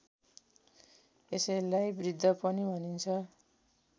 यसैलाई वृत्त पनि भनिन्छ